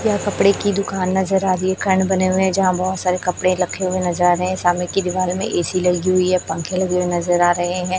यह कपड़े की दुकान नजर आ रही है बने हुए जहां बहुत सारे कपड़े रखे हुए नजारे सामने की दीवार में ए_सी लगी हुई है पंखे लगे हुए नजर आ रहे हैं।